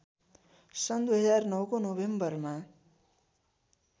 सन् २००९ को नोभेम्बरमा